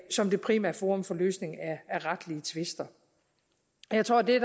som det primære forum for løsning af retlige tvister jeg tror at det